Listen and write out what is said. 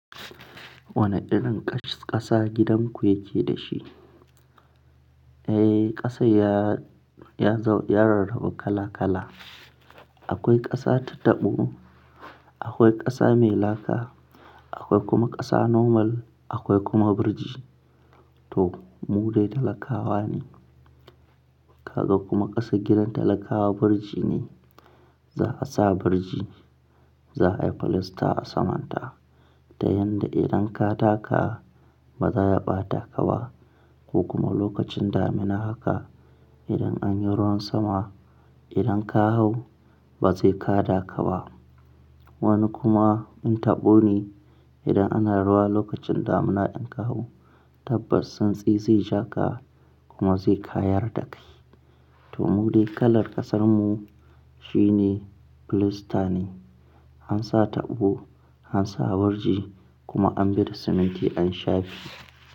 Wane irin ƙasa gidan ku yake da shi? Eh, ƙasa ya, ya, ya rarrabu kala kala. Akwai ƙasa ta tabo, akwai ƙasa mai laka, akwai kuma ƙasa normal, akwai kuma biriji. To mu dai talakawa ne. Kaga kuma ƙasar gidan talakawa biriji ne. Za'a sa biriji, za'a yi filasta a saman ta. Ta yanda idan ka taka ba za ya ɓata ka ba, ko kuma lokacin damina haka idan an yi ruwan sama, idan ka hau ba sai ka taka ba. Wani kuma in tabo ne idan ana ruwa lokacin damina idan ka hau, tabbas tsantsi zai ja ka kuma zai kayar da kai. To mu dai kalar ƙasan mu shine filasta ne. An sa tabo, an sa biriji kuma an bi da siminti an shafe.